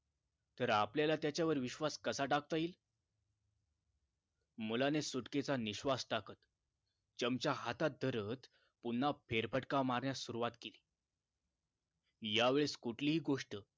तर आपल्याला त्याच्यावर विश्वास कसा टाकता येईल मुलाने सुटकेचा निश्वास टाकत चमचा हातात धरत पुन्हा फेरफटका मारण्यास सुरुवात केली यावेळेस कुठलीही गोष्ट